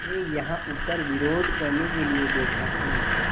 मैं यहाँ ऊपर विरोध करने के लिए बैठा हूँ